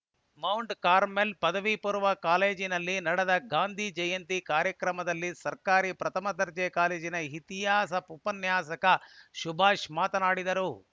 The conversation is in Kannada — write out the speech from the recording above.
ನರಸಿಂಹರಾಜಪುರ ಮೌಂಟ್‌ ಕಾರ್ಮೆಲ್‌ ಪದವಿ ಪೂರ್ವ ಕಾಲೇಜಿನಲ್ಲಿ ನಡೆದ ಗಾಂಧೀ ಜಯಂತಿ ಕಾರ್ಯಕ್ರಮದಲ್ಲಿ ಸರ್ಕಾರಿ ಪ್ರಥಮ ದರ್ಜೆ ಕಾಲೇಜಿನ ಇತಿಹಾಸ ಉಪನ್ಯಾಸಕ ಸುಭಾಷ್‌ ಮಾತನಾಡಿದರು